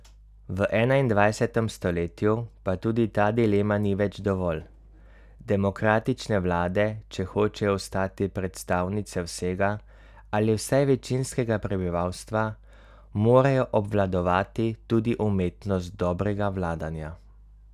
V enaindvajsetem stoletju pa tudi ta dilema ni več dovolj, demokratične vlade, če hočejo ostati predstavnice vsega ali vsaj večinskega prebivalstva, morajo obvladovati tudi umetnost dobrega vladanja.